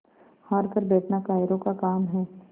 हार कर बैठना कायरों का काम है